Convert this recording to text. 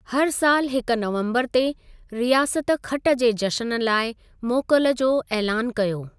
हर सालु हिके नवम्बरु ते, रियासत खटि जे जशन लाइ मोकल जो ऐलानु कयो।